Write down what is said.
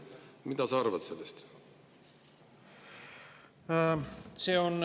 Mida sa arvad sellest?